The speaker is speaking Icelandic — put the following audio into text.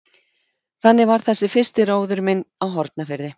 Þannig var þessi fyrsti róður minn á Hornafirði.